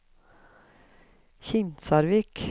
Kinsarvik